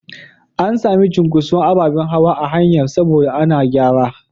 An sami cunkuson ababen hawa a hanyar saboda ana gyara.